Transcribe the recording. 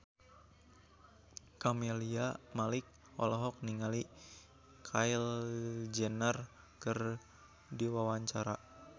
Camelia Malik olohok ningali Kylie Jenner keur diwawancara